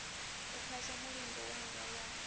u phasa mulingo wanga wa